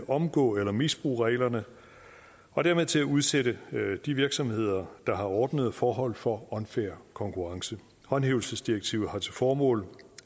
omgå eller misbruge reglerne og dermed til at udsætte de virksomheder der har ordnede forhold for unfair konkurrence håndhævelsesdirektivet har til formål